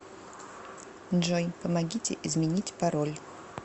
джой помогите изменить пароль